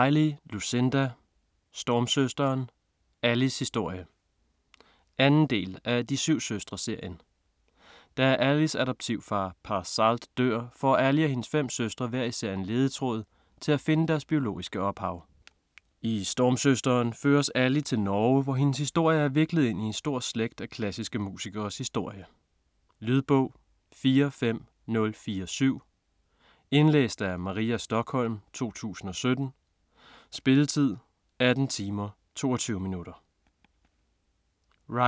Riley, Lucinda: Stormsøsteren: Allys historie 2. del af De syv søstre-serien. Da Allys adoptivfar Pa Salt dør, får Ally og hendes fem søstre hver især en ledetråd til at finde deres biologiske ophav. I Stormsøsteren føres Ally til Norge, hvor hendes historie er viklet ind i en stor slægt af klassiske musikeres historie. Lydbog 45047 Indlæst af Maria Stokholm, 2017. Spilletid: 18 timer, 22 minutter.